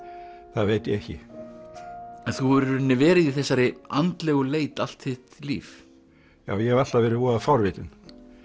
það veit ég ekki en þú hefur í rauninni verið í þessari andlegu leit allt þitt líf já ég hef alltaf verið voða forvitinn